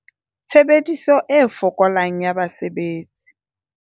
Tshebediso e fokolang ya basebetsi